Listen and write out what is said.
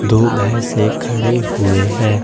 दो भैंसे खड़े हुए हैं।